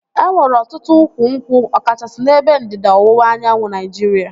E nwere ọtụtụ ukwu nkwụ ọ kachasị n'ebe ndịda ọwụwa anyanwụ Naịjiria